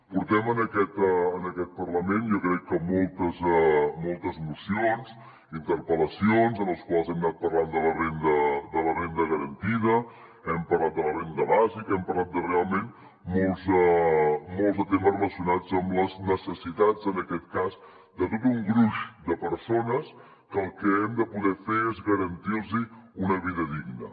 portem en aquest parlament jo crec que moltes mocions i interpel·lacions en les quals hem anat parlant de la renda garantida hem parlat de la renda bàsica hem parlat de realment molts de temes relacionats amb les necessitats en aquest cas de tot un gruix de persones que el que hem de poder fer és garantir los una vida digna